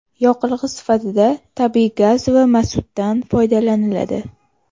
Yoqilg‘i sifatida tabiiy gaz va mazutdan foydalaniladi.